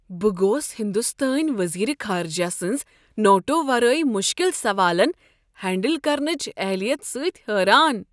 بہٕ گوس ہندوستٲنۍ وزیٖر خارجہ سنٛز نوٹو ورٲے مشکل سوالن ہینڈل کرنچ اہلیت سۭتۍ حیران۔